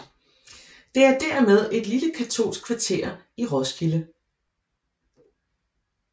Det er dermed et lille katolsk kvarter i Roskilde